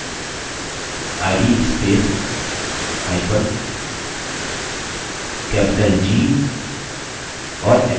id spacehyphen capital g और enter दबाइए